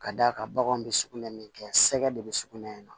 Ka d'a kan baganw bɛ sugunɛ min kɛ sɛgɛ de bɛ sugunɛ in na